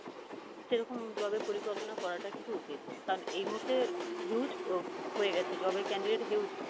সেরকম job এর পরিকল্পনা করাটা কিন্তু উচিত, কারন এই মুহূর্তে huge হয়ে গেছে job এর candidate huge